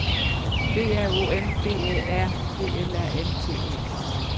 B R O M B Æ R P L A N T E